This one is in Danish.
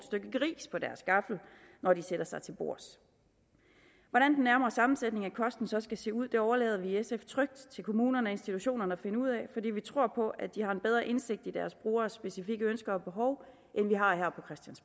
gris på deres gaffel når de sætter sig til bords hvordan den nærmere sammensætning af kosten så skal se ud overlader vi i sf trygt til kommunerne og institutionerne at finde ud af fordi vi tror på at de har en bedre indsigt i deres brugeres specifikke ønsker og behov end vi har her